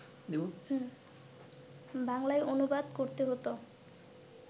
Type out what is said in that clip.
বাংলায় অনুবাদ করতে হোত